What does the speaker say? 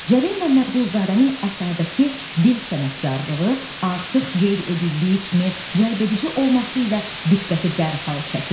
Cəlil Məmmədquluzadənin əsərdəki dil sənətkarlığı artıq qeyd edildiyi kimi cəlbedici olması ilə diqqəti dərhal çəkir.